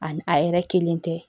Ani a yɛrɛ kelen tɛ